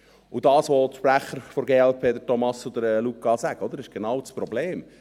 Das, was die Sprecher der glp, die Thomas Brönnimann und Luca Alberucci sagen, ist genau das Problem.